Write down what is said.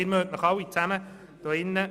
Sie können sich alle daran erinnern: